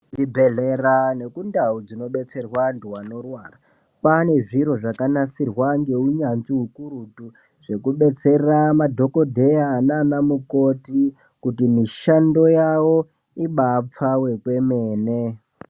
Zvibhedhlera nekundau dzinodetserwa vantu vanorwara, kwaane zviro zvakanasirwa ngeunyanzvi ukurutu, zvekudetsera madhogodheya nanamukoti kuti mishando yavo ibe yapfawa kwemene.